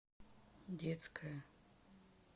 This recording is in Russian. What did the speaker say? детская